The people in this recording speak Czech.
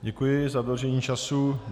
Děkuji za dodržení času.